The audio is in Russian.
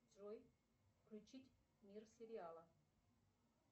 джой включить мир сериала